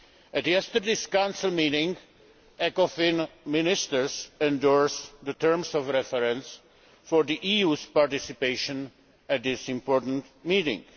At yesterday's Council meeting, Ecofin ministers endorsed the terms of reference for the EU's participation in that important meeting.